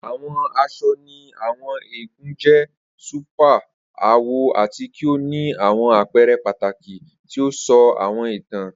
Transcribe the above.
Awọn aṣọ ni Àwọn eégún jẹ super awọ ati ki o ni awọn apẹrẹ pataki ti o sọ awọn itan.